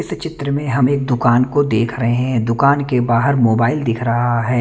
इस चित्र में हम एक दुकान को देख रहे हैं दुकान के बाहर मोबाईल दिख रहा है।